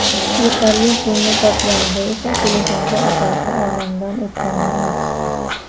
Yetarli pulni topganida esa telefonda otasi olamdan o‘tganini aytishdi.